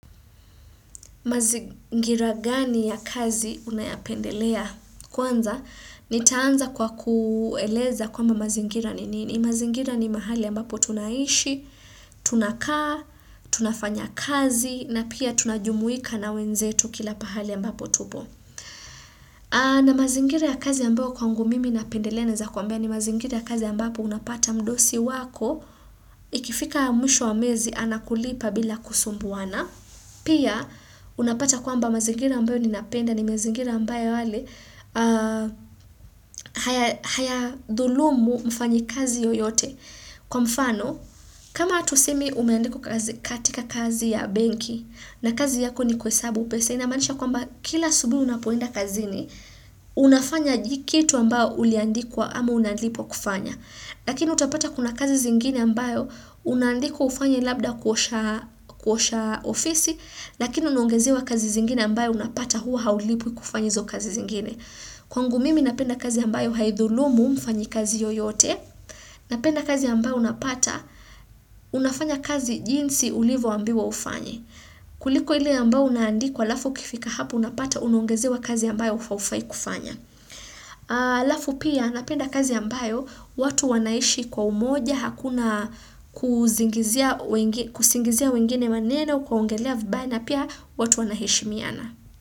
Mazingira gani ya kazi unayapendelea? Kwanza, nitaanza kwa kueleza kwamba mazingira nini. Mazingira ni mahali ambapo tunaishi, tunakaa, tunafanya kazi, na pia tunajumuika na wenzetu kila pahali ambapo tupo. Na mazingiri ya kazi ambayo kwangu mimi napendelea naeza kuambia ni mazingira ya kazi ambapo unapata mdosi wako ikifika mwisho wa mwezi anakulipa bila kusumbuana. Pia unapata kwamba mazingira ambayo ninapenda ni mazingira ambayo yale haya dhulumu mfanyikazi yoyote. Kwa mfano, kama tuseme umeandikwa katika kazi ya benki na kazi yako ni kuhesabu pesa, inamaanisha kwamba kila asubuhi unapoenda kazini, unafanya kitu ambayo uliandikwa ama unalipwa kufanya. Lakini utapata kuna kazi zingine ambayo unandikwa ufanya labda kuosha kuosha ofisi, lakini unaongezewa kazi zingine ambayo unapata huwa haulipwi kufanya hizo kazi zingine. Kwangu mimi napenda kazi ambayo haidhulumu mfanyikazi yoyote. Napenda kazi ambayo unapata unafanya kazi jinsi ulivyoambiwa ufanye. Kuliko ile ambayo unaandikwa alafu ukifika hapo unapata unaongezewa kazi ambayo haufai kufanya. Alafu pia napenda kazi ambayo watu wanaishi kwa umoja, hakuna kusingizia wengine maneno kuwaongelea vibaya na pia watu wanaheshimiana.